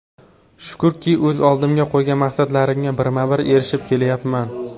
Shukrki, o‘z oldimga qo‘ygan maqsadlarimga birma-bir erishib kelyapman.